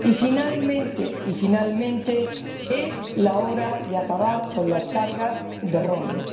Y, finalmente, es la hora de acabar con los costes del roaming